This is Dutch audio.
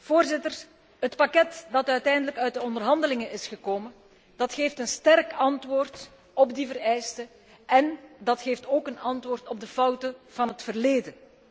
Voorzitters, het pakket dat uiteindelijk uit de onderhandelingen is gekomen, geeft een sterk antwoord op die vereisten en dat geeft ook een antwoord op de fouten van het verleden.